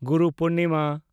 Guru Purnima